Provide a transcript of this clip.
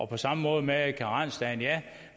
på samme måde med karensdage